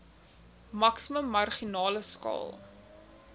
maksimum marginale skaal